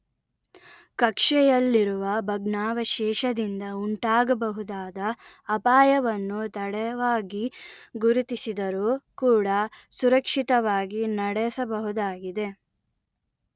ಕಕ್ಷೆಯಲ್ಲಿರುವ ಭಗ್ನಾವಶೇಷದಿಂದ ಉಂಟಾಗಬಹುದಾದ ಅಪಾಯವನ್ನು ತಡವಾಗಿ ಗುರುತಿಸಿದರೂ ಕೂಡ ಸುರಕ್ಷಿತವಾಗಿ ನಡೆಸಬಹುದಾಗಿದೆ